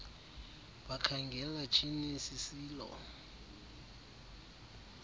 bakhangela tyhiinil sisilo